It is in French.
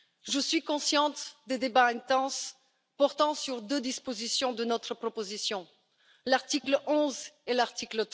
Je suis consciente des débats intenses portant sur deux dispositions de notre proposition, à savoir l'article 11 et l'article